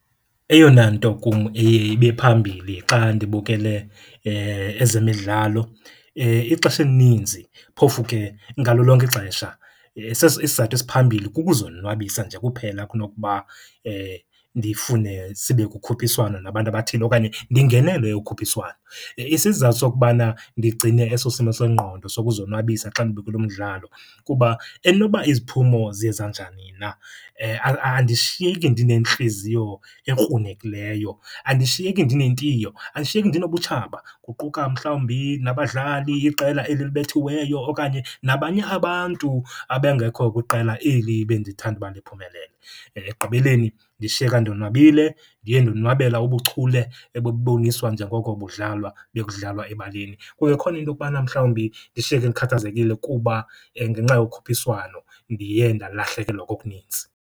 Eyona nto kum eye ibe phambili xa ndibukele ezemidlalo ixesha elininzi, phofu ke ngalo lonke ixesha, isizathu esiphambili kukuzonwabisa nje kuphela kunokuba ndifune sibe kukhuphiswano nabantu abathile okanye ndingenele ukhuphiswano. Isizathu sokubana ndigcine eso simo sengqondo sokuzonwabisa xa ndibukele umdlalo kuba enoba iziphumo ziye zanjani na andishiyeki ndinentliziyo ekrunekileyo, andishiyeki ndinentiyo, andishiyeki ndinobutshaba, kuquka mhlawumbi nabadlali, iqela eli libethiweyo okanye nabanye abantu abengekho kwiqela eli bendithanda uba liphumelele. Ekugqibeleni ndishiyeka ndonwabile, ndiye ndonwabela ubuchule ebuboniswa njengoko budlalwa bekudlalwa ebaleni. Kungekhona into okubana mhlawumbi ndishiyeke ndikhathazekile kuba ngenxa yokhuphiswano ndiye ndalahlekelwa kokuninzi.